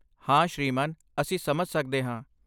ਹਾ ਸ਼੍ਰੀਮਾਨ। ਅਸੀਂ ਸਮਝ ਸਕਦੇ ਹਾਂ।